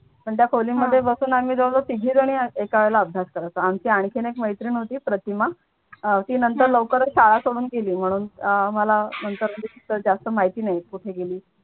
पण त्या खोली मध्ये आम्ही बसून जवळ जवळ तिघीजणी एका वेळेला अभ्यास करायचं आमची आणखीन एक मैत्रीण होती प्रतिमा ती नंतर लवकर शाळा सोडून गेली म्हणून मला नंतर तिचं जास्त माहिती नाही कुठे गेली.